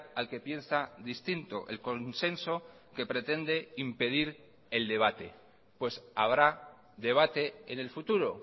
al que piensa distinto el consenso que pretende impedir el debate pues habrá debate en el futuro